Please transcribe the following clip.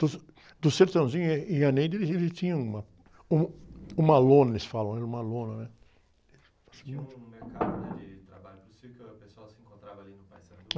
Do, do e, e a eles, eles tinham uma, um, uma lona, eles falam, era uma lona, né?inha um mercado, né? De trabalho do circo, o pessoal de encontrava ali no Paissandu.